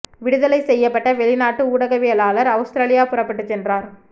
விடுதலை செய்யப்பட்ட வெளிநாட்டு ஊடகவியலாளர் அவுஸதிரேலியா புறப்பட்டுச் சென்றனர்